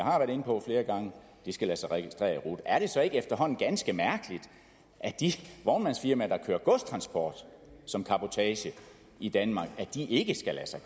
de skal lade sig registrere i rut er det så ikke efterhånden ganske mærkeligt at de vognmandsfirmaer der kører godstransport som cabotage i danmark ikke skal lade sig